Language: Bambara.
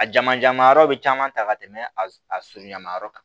A jamajaman yɔrɔ bɛ caman ta ka tɛmɛ a sulu ɲama yɔrɔ kan